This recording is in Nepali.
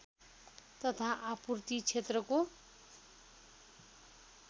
तथा आपूर्ति क्षेत्रको